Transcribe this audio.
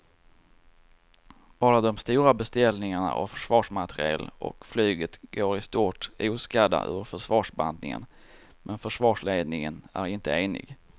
Bara de stora beställningarna av försvarsmateriel och flyget går i stort oskadda ur försvarsbantningen men försvarsledningen är inte enig.